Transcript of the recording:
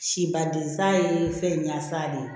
Sibadensan ye fɛn ɲansa de ye